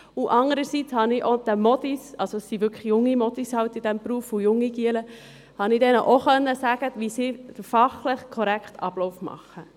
Andererseits konnte ich auch den Mädchen sagen – es sind halt junge Mädchen und junge Knaben in diesem Beruf –, wie sie den fachlich korrekten Ablauf machen.